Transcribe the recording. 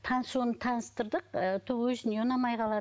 танысуын таныстырдық і то өзіне ұнамай қалады